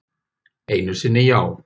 Einu sinni já.